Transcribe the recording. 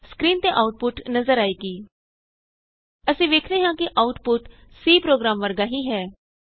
screen ਤੇ output ਨਜ਼ਰ ਆਏਗੀ ਅਸੀਂ ਵੇਖਦੇ ਹਾਂ ਕਿ ਆਉਟਪੁਟ C ਪ੍ਰੋਗਰਾਮ ਵਰਗਾ ਹੀ ਹੈ